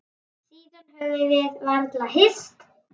Síðan höfum við varla hist.